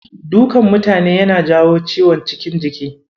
Dukan mutane yana jawo ciwon cikin jiki.